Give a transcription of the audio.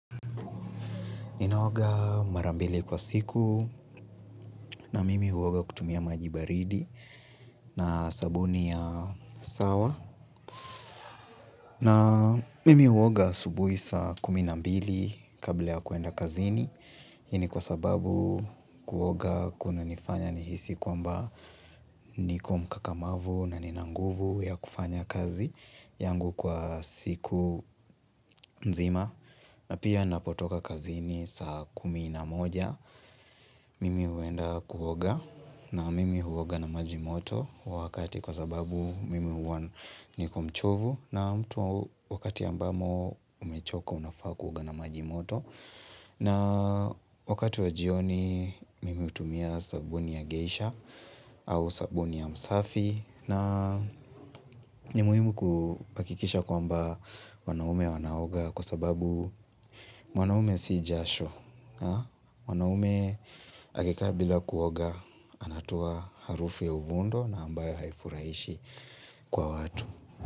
Ninaoga marambili kwa siku na mimi huoga kutumia maji baridi na sabuni ya sawa. Na mimi huoga asubuhi saa kumi na mbili kabla ya kuenda kazini. Hii ni kwa sababu kuoga kuna nifanya nihisi kwamba niko mkakamavu na ninanguvu ya kufanya kazi yangu kwa siku nzima. Na pia napotoka kazini saa kumi na moja, mimi huenda kuoga na mimi huoga na maji moto wakati kwa sababu mimi huwa niko mchovu na mtu wakati ambamo umechoko unafaa kuoga na majimoto. Na wakati wa jioni mime hutumia sabuni ya geisha au sabuni ya msafi na ni muhimu kuhakikisha kwamba wanaume wanaoga kwa sababu mwanaume si jasho wanaume akikaa bila kuoga anatoa harufi ya uvundo na ambayo haifurahishi kwa watu.